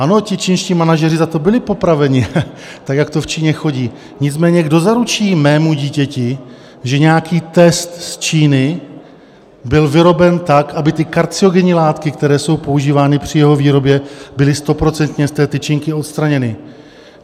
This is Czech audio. Ano, ti čínští manažeři za to byli popraveni, tak jak to v Číně chodí, nicméně kdo zaručí mému dítěti, že nějaký test z Číny byl vyroben tak, aby ty karcinogenní látky, které jsou používány při jeho výrobě, byly stoprocentně z té tyčinky odstraněny?